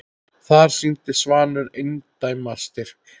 Þar sýndi Svanur eindæma styrk.